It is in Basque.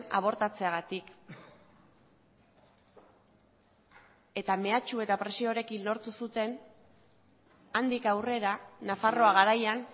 abortatzeagatik eta mehatxu eta presioarekin lortu zuten handik aurrera nafarroa garaian